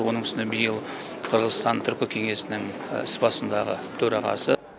оның үстіне биыл қырғызстан түркі кеңесінің іс басындағы төрағасы